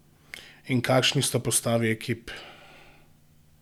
In kakšni sta postavi ekip?